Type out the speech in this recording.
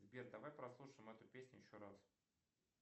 сбер давай прослушаем эту песню еще раз